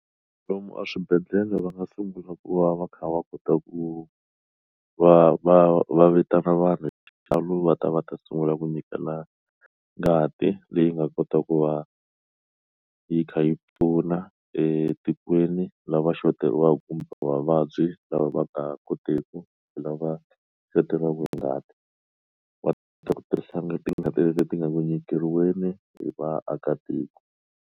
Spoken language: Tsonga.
Loko a swibedhlele va nga sungula ku va va kha va kota ku va va va vitana vanhu xibalo va ta va ta sungula ku nyikela ngati leyi nga kota ku va yi kha yi pfuna etikweni lava shoteriwa kumbe vavabyi lava va ta koteku hi lava shoteriwa ngati va ta kota ku tirhisa na ti nga ti leti ti nga Ku nyikeriweni hi vaakatiko.